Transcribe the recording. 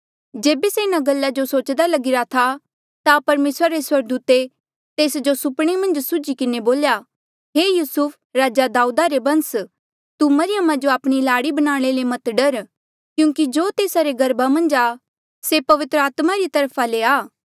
जेबे से इन्हा गल्ला जो सोचदा लगिरा था ता परमेसरा रे स्वर्गदूते तेस जो सुपणे मन्झ सुझ्ही किन्हें बोल्या हे युसुफ राजा दाऊदा रे बंस तू मरियमा जो आपणी लाड़ी बनाणे ले मत डर क्यूंकि जो तेस्सा रे गर्भा मन्झा आ से पवित्र आत्मा री तरफा ले आ